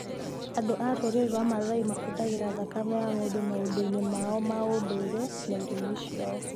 Andũ a rũrĩrĩ rwa Maasai mahũthagĩra thakame ya ng'ombe maũndũ-inĩ mao ma ũndũire na irio-inĩ ciao.